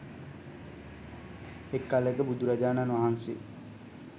එක් කලෙක බුදුරජාණන්වහන්සේ